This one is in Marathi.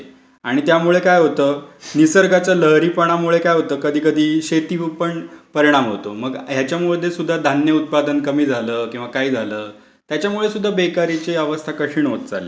आणि त्यामुळे काय होतं? निसर्गाच्या लहरीपणामुळे काय होतं कधीकधी शेतीवर पण परिणाम होतो. मग ह्याच्यामध्ये सुद्धा धान्य उत्पादन कमी झालं किंवा काही झालं याच्यामुळे सुद्धा बेकारीची अवस्था कठीण होत चाललीय. म्हण जे कुठलाच उपयोग काय, कुठलाच उद्योगधंदा काय काहीच सुरक्षित राहिलं नाहीये हल्ली.